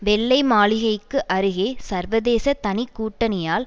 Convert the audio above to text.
வெள்ளை மாளிகைக்கு அருகே சர்வதேச தனி கூட்டணியால்